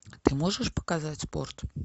ты можешь показать спорт